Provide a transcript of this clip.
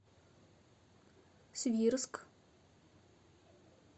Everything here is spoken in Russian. свирск